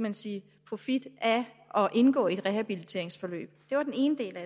man sige profit af at indgå i et rehabiliteringsforløb det var den ene del